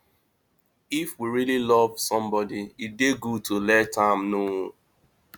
if we really love somebody e dey good to let am know